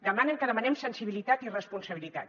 demanen que demanem sensibilitat i responsabilitat